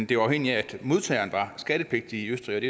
det var afhængigt af at modtageren var skattepligtig i østrig